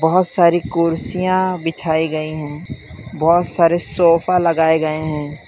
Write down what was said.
बोहोत सारी कुर्सियां बिछाई गई हैं बोहोत सारे सोफा लगाए गए हैं।